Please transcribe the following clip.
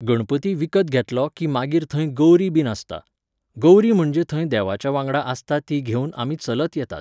गणपती विकत घेतलो की मागीर थंय गौरी बीन आसता. गौरी म्हणजे थंय देवाच्या वांगडा आसता ती घेवन आमी चलत येतात.